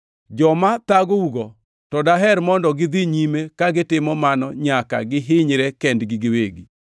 Joma thagougo, to daher mondo gidhi nyime ka gitimo mano nyaka gihinyre kendgi giwegi!